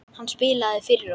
Hann spilaði fyrir okkur!